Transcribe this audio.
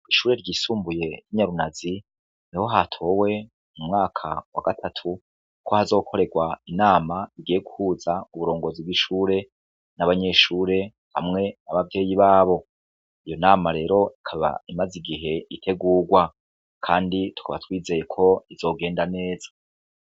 Ishure ry isumbuye ryi nyarunazi, niho hatow' umwaka w' agatatu ko hazokoregw' inam' igiye guhuz' uburongozi bw' ishure, n' abanyeshure hamwe n' abavyeyi babo, iyo nama rer' ikab' imaz' igih' itegugwa kandi tukaba twizeye ko bizogenda neza